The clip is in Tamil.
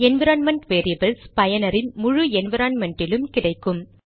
என்விரான்மென்ட் வேரியபில்ஸ் பயனரின் முழு என்விரான்மென்ட்டிலும் கிடைக்கும்